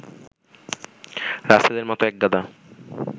রাসেলের মতো একগাদা